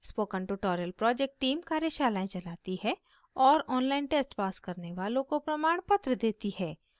spoken tutorial project team कार्यशालाएं चलाती है और online test pass करने वालों को प्रमाणपत्र देती है